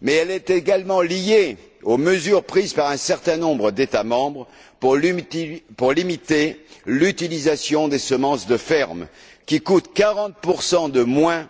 Mais elle est également liée aux mesures prises par un certain nombre d'États membres pour limiter l'utilisation des semences de ferme, qui coûtent 40 de moins,